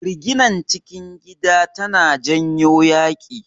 Riginar cikin gida tana janyo yaƙi.